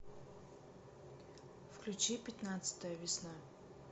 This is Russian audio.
включи пятнадцатая весна